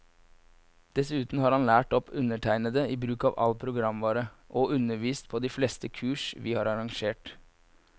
Dessuten har han lært opp undertegnede i bruk av all programvare, og undervist på de fleste kurs vi har arrangert.